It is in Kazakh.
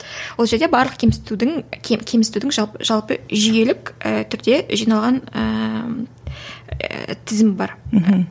ол жерде барлық кемсітудің кемсітудің жалпы жүйелік ііі түрде жиналған ііі тізімі бар мхм